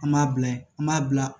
An b'a bila yen an b'a bila